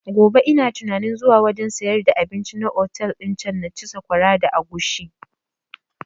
Gobe ina tunanin zuwa wajen sayar da abinci na otel din can na ci sakwara da agushi